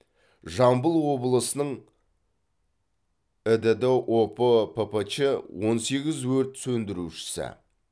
жамбыл облысының ідд опо ппч он сегіз өрт сөндірушісі